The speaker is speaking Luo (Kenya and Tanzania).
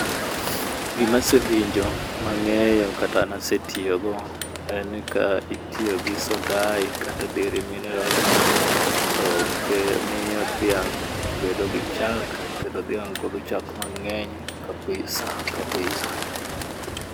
Gimasewinjo mang'eyo kata nasetiyo go en ni ka itiyo gi sodai kata dere minerals to ke miyo dhiang' bedo gi chak kendo dhiang' golo chak mang'eny kabisa kabisa